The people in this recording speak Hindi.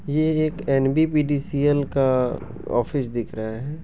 यह एक एनबीबीडिसीएल का ऑफिस दिख रहा है।